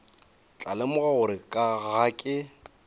tla lemoga gore ga ke